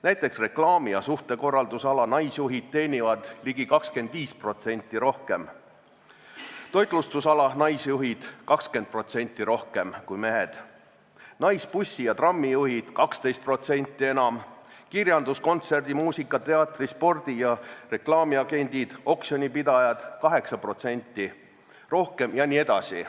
Näiteks reklaami- ja suhtekorralduse ala naisjuhid teenivad ligi 25% rohkem kui mehed, toitlustusala naisjuhid 20% rohkem, naisbussijuhid ja -trammijuhid 12% enam, kirjandus-, kontserdi-, muusika-, teatri-, spordi- ja reklaamiagendid ning oksjonipidajad 8% rohkem jne.